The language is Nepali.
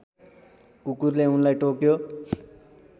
कुकुरले उनलाई टोक्यो